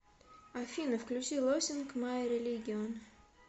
афина включи лосинг май религион